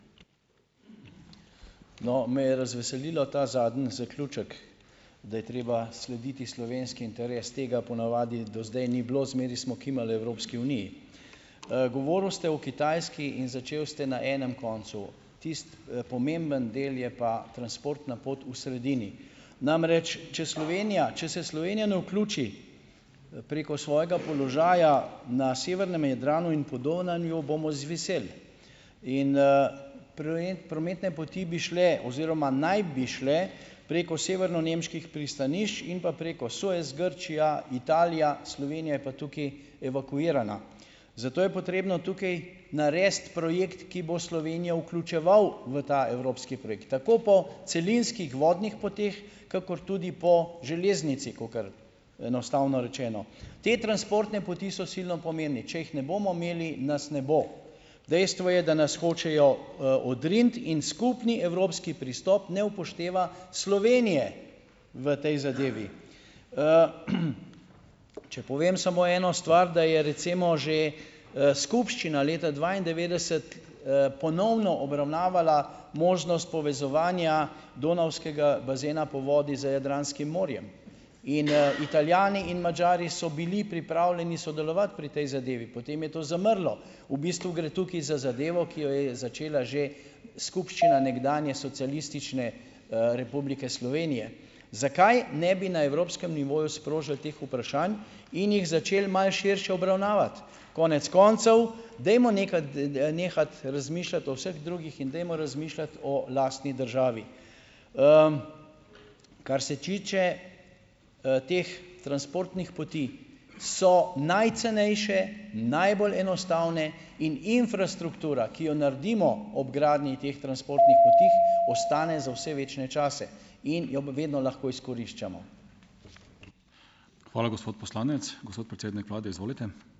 No, me je razveselil ta zadnji zaključek, da je treba slediti slovenski interes. Tega ponavadi do zdaj ni bilo. Zmeraj smo kimali Evropski uniji. govorili ste o Kitajski in začeli ste na enem koncu. Tisti, pomemben del je pa transportna pot v sredini. Namreč, če Slovenija , če se ne vključi, preko svojega položaja na severnem Jadranu in Podonavju, bomo izviseli. In, prometne poti bi šle oziroma naj bi šle preko severnonemških pristanišč in pa preko Suez, Grčija, Italija, Slovenija je pa tukaj evakuirana. Zato je potrebno tukaj narediti projekt, ki bo Slovenijo vključeval v ta evropski projekt. Tako po celinskih vodnih poteh kakor tudi po železnici, kakor enostavno rečeno. Te transportne poti so silno pomembne. Če jih ne bomo imeli, nas ne bo. Dejstvo je, da nas hočejo, odriniti in skupni evropski pristop ne upošteva Slovenije v tej zadevi . če povem samo eno stvar, da je recimo že, skupščina leta dvaindevetdeset, ponovno obravnavala možnost povezovanja donavskega bazena po vodi z Jadranskim morjem. In, Italijani in Madžari so bili pripravljeni sodelovati pri tej zadevi, potem je to zamrlo. V bistvu gre tukaj za zadevo, ki jo je začela že skupščina nekdanje Socialistične, Republike Slovenije. Zakaj ne bi na evropskem nivoju sprožili teh vprašanj in jih začeli malo širše obravnavati? Konec koncev, dajmo , nehati razmišljati o vseh drugih in dajmo razmišljati o lastni državi. kar se tiče, teh transportnih poti so najcenejše in najbolj enostavne in infrastruktura, ki jo naredimo ob gradnji teh transportnih poti, ostane za vse večne čase. In jo vedno lahko izkoriščamo. Hvala, gospod poslanec. Gospod predsednik vlade, izvolite.